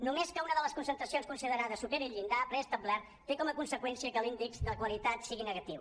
només que una de les concentracions considerades superi el llindar preestablert té com a conseqüència que l’índex de qualitat sigui negatiu